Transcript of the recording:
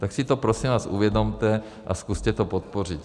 Tak si to prosím vás uvědomte a zkuste to podpořit.